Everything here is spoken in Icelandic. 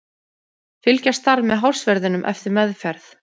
Fylgjast þarf með hársverðinum eftir meðferð.